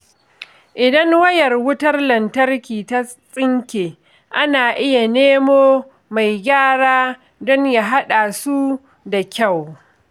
Idan wayar wutar lantarki ta tsinke, ana iya nemo mai gyara don ya haɗa su da kyau.